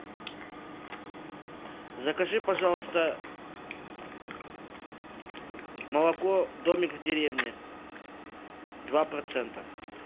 закажи пожалуйста молоко домик в деревне два процента